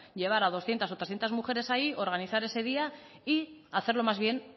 llevar a doscientos o trescientos mujeres ahí organizar ese día y hacerlo más bien